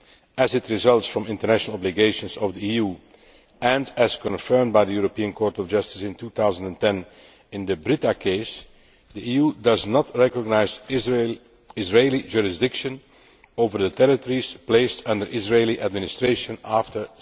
As it results from international obligations of the EU and as confirmed by the European Court of Justice in 2010 in the Brita case, the EU does not recognise Israeli jurisdiction over the territories placed under Israeli administration after